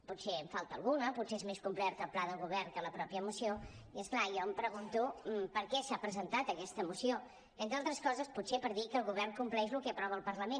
potser en falta alguna potser és més complert el pla de govern que la mateixa moció i és clar jo em pregunto per què s’ha presentat aquesta moció entre altres coses potser per dir que el govern compleix el que aprova el parlament